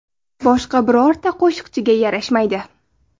Boshqa birorta qo‘shiqchiga yarashmaydi.